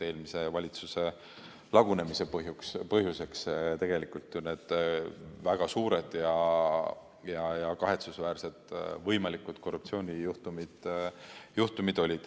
Eelmise valitsuse lagunemise põhjuseks olid tegelikult väga suured ja kahetsusväärsed võimalikud korruptsioonijuhtumid.